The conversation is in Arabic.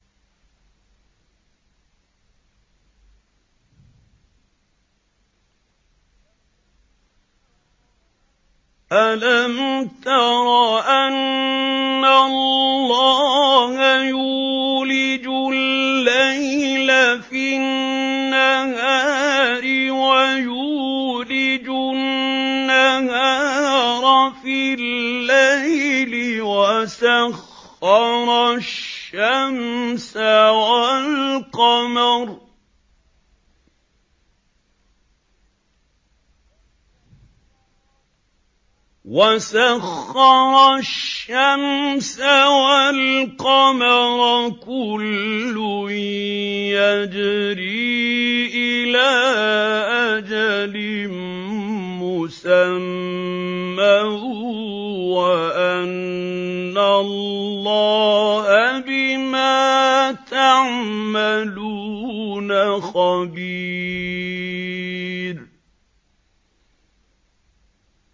أَلَمْ تَرَ أَنَّ اللَّهَ يُولِجُ اللَّيْلَ فِي النَّهَارِ وَيُولِجُ النَّهَارَ فِي اللَّيْلِ وَسَخَّرَ الشَّمْسَ وَالْقَمَرَ كُلٌّ يَجْرِي إِلَىٰ أَجَلٍ مُّسَمًّى وَأَنَّ اللَّهَ بِمَا تَعْمَلُونَ خَبِيرٌ